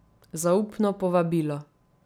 Zaupno povabilo.